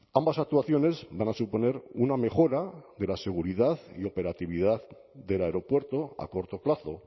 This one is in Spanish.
ambas actuaciones van a suponer una mejora de la seguridad y operatividad del aeropuerto a corto plazo